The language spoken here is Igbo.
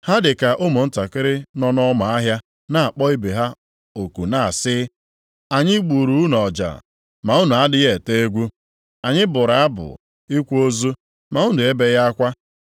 Ha dị ka ụmụntakịrị nọ nʼọma ahịa na-akpọ ibe ha oku na-asị, “ ‘Anyị gburu unu ọja, ma unu adịghị ete egwu. Anyị bụrụ abụ ịkwa ozu, ma unu ebeghị akwa.’